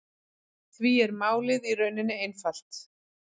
Því er málið í rauninni einfalt